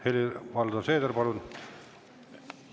Helir-Valdor Seeder, palun!